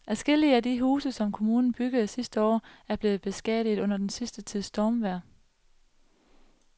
Adskillige af de huse, som kommunen byggede sidste år, er blevet beskadiget under den sidste tids stormvejr.